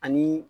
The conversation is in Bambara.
Ani